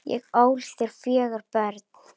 Ég ól þér fjögur börn.